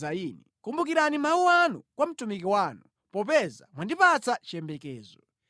Kumbukirani mawu anu kwa mtumiki wanu, popeza mwandipatsa chiyembekezo.